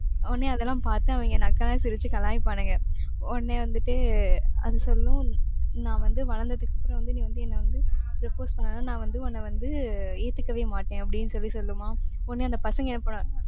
உடனே அதெல்லாம் பார்த்து அவங்க நக்கலா சிரிச்சு கலாய்ப்பானுங்க. உடனே வந்துட்டு அது சொல்லும் நான் வந்து வளர்ந்ததுக்கு அப்புறம் வந்து நீ வந்து என்னை வந்து propose பண்ணாலும் நான் வந்து உன்னை வந்து ஏத்துக்கவேமாட்டேன் அப்படின்னு சொல்லி சொல்லுமா. உடனே, அந்த பசங்க என்ன பண்ணுவா~